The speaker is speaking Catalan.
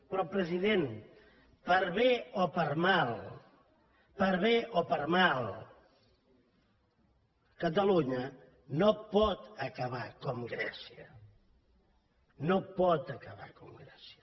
però president per bé o per mal per bé o per mal catalunya no pot acabar com grècia no pot acabar com grècia